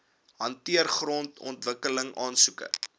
hanteer grondontwikkeling aansoeke